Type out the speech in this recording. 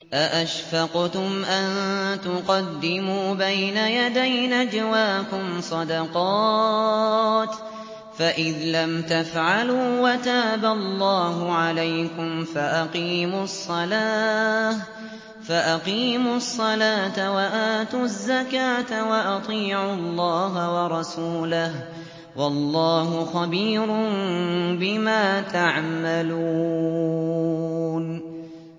أَأَشْفَقْتُمْ أَن تُقَدِّمُوا بَيْنَ يَدَيْ نَجْوَاكُمْ صَدَقَاتٍ ۚ فَإِذْ لَمْ تَفْعَلُوا وَتَابَ اللَّهُ عَلَيْكُمْ فَأَقِيمُوا الصَّلَاةَ وَآتُوا الزَّكَاةَ وَأَطِيعُوا اللَّهَ وَرَسُولَهُ ۚ وَاللَّهُ خَبِيرٌ بِمَا تَعْمَلُونَ